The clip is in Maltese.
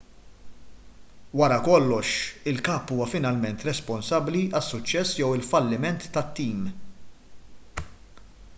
wara kollox il-kap huwa finalment responsabbli għas-suċċess jew għall-falliment tat-tim